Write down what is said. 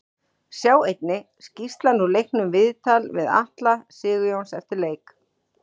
Sjá einnig: Skýrslan úr leiknum Viðtal við Atla Sigurjóns eftir leik